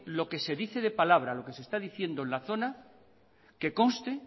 lo que se dice de palabra lo que se está diciendo en la zona que conste